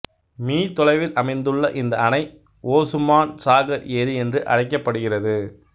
me தொலைவில் அமைந்துள்ள இந்த அணை ஓசுமான் சாகர் ஏரி என்று அழைக்கப்படுகிறது